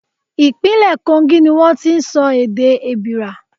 Ìpínlẹ̀ Kogi ni wón ti ń sọ èdè Èbìrà.